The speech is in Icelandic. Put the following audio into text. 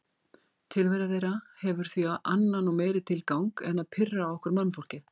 Tilvera þeirra hefur því annan og meiri tilgang en að pirra okkur mannfólkið.